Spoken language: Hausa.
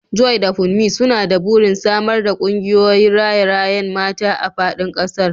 Joy da Kunmi suna da burin samar da kungiyoyin raye-rayen mata a fadin kasar.